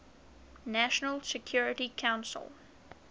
nations security council